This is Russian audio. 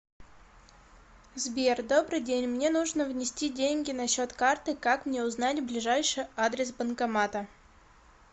сбер добрый день мне нужно внести деньги на счет карты как мне узнать ближайший адрес банкомата